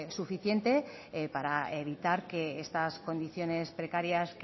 suficiente para evitar que estas condiciones precarias